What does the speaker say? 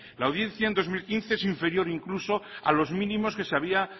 la audiencia en dos mil quince es inferior incluso a los mínimos que se había